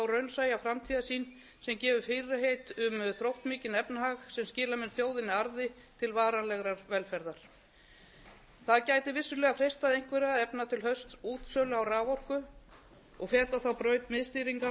raunsæja framtíðarsýn sem gefur fyrirheit um þróttmikinn efnahag sem skila mun þjóðinni arði til varanlegrar velferðar það gæti vissulega freistað einhverra að efna til haustútsölu á raforku og feta þá braut miðstýringar